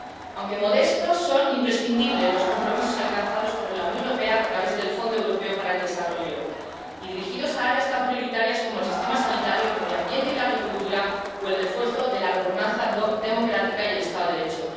Aunque modestos, son imprescindibles los compromisos alcanzados por la Unión Europea a través del Fondo Europeo de Desarrollo y dirigidos a áreas tan prioritarias como el sistema sanitario, el medio ambiente y la agricultura o el refuerzo de la gobernanza democrática y el Estado de Derecho.